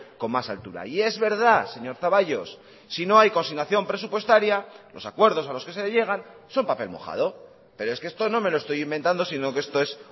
con más altura y es verdad señor zaballos si no hay consignación presupuestaria los acuerdos a los que se llegan son papel mojado pero es que esto no me lo estoy inventando sino que esto es